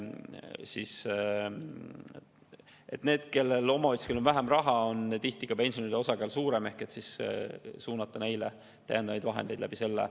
See tegelikult laias pildis adresseerib seda hästi, et suunata neile täiendavaid vahendeid.